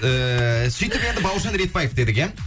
ііі сөйтіп енді бауыржан ретпаев дедік иә